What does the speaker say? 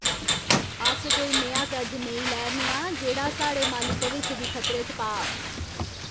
अस कोई नेहा कर्ज नेईं लै 'रने आं जेह्ड़ा साढ़े माली भविक्ख गी खतरे च पाऽ!